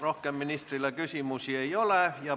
Rohkem ministrile küsimusi ei ole.